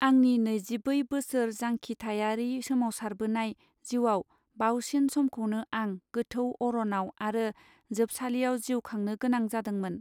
आंनि नैजिबै बोसोर जांखिथायारि सोमावसारबोनाय जिउयाव बावसिन समखौनो आं गोथौ अरनाव आरो जोबसालियाव जिउ खांनो गोनां जादोंमोन.